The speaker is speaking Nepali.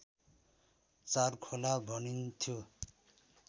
चारखोला भनिन्थ्यो